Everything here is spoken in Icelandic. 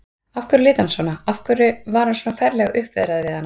Af hverju lét hann svona, af hverju var hann svona ferlega uppveðraður við hana?